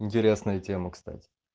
интересная тема кстати